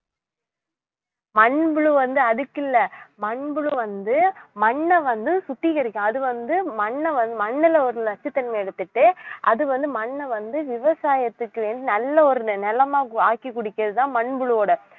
மண்புழு வந்து அதுக்கில்ல மண்புழு வந்து மண்ணை வந்து சுத்திகரிக்கும் அது வந்து மண்ணை வந்~ மண்ணுல ஒரு நச்சுத்தன்மையை எடுத்துட்டு அது வந்து மண்ணை வந்து விவசாயத்துக்கு வேண்டி நல்ல ஒரு நிலமா ஆக்கி குடிக்கிறதுதான் மண்புழுவோட